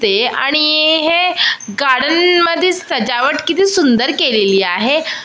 ते आणि अ हे गार्डन मध्ये सजावट किती सुंदर केलेली आहे .